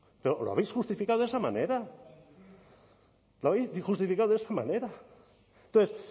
pues no lo habéis justificando de esa manera lo habéis justificado de esa manera entonces